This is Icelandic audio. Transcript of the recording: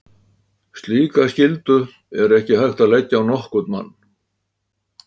Slíka skyldu er ekki hægt að leggja á nokkurn mann.